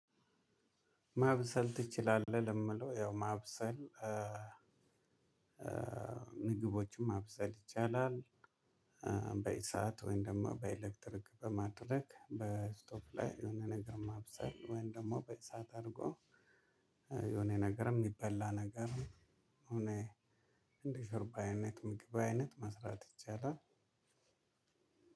ማብሰል ትችላለህ ለሚለው ያው ማብሰል ምግቦችን ማብሰል ይቻላል። በእሳት ወይም ደግሞ በኤሌክትሪክ በማድረግ በስቶፕ ላይ የሆነ ነገር ማብሰል ወይም ደግሞ በእሳት አርጎ የሆነ ነገርም የሚበላ ነገር። እኔ እንደዚህ በአይነት ምግብ አይነት መስራት ይቻላል።